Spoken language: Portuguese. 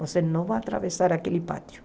Você não vai atravessar aquele pátio.